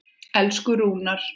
Elsku Rúnar.